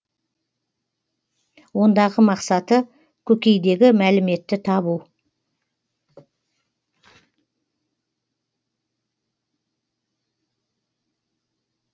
ондағы мақсаты көкейдегі мәліметті табу